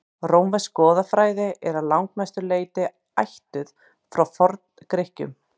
rómversk goðafræði er að langmestu leyti ættuð frá forngrikkjum